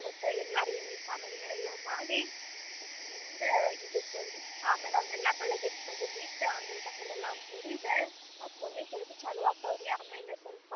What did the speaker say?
ಅವತ್ತ ಎಲ್ಲಾರ್ ಎಣ್ಣಿ ಸ್ನಾನ ಗಿನಾ ಮಾಡಿ ಖುಷಿಲಿಂದ ಇರ್ತೇವ್ರಿ ಆಮೇಲೆ ಅವನ್ನೆಲ್ಲ ಬೆಳಗ್ಗೆದ ತಗದ್ ಇಟ್ಟ್ ಅಂಗಳ ಕಸ ಎಲ್ಲಾ ಹೂಡಿದ ಆಮೇಲೆ ಮತ್ತ ಮುಂದಿನ ಕೆಲಸ ಚಾಲು ಅಕ್ಕವರಿ ಆಮೇಲೆ ಸ್ವಲ್ಪ